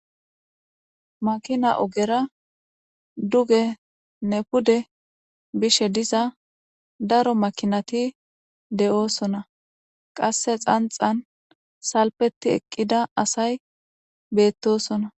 Makina ogera duge pude bishe diza daro makinati de'osona qase xanxan salfeti eqida asay betosona.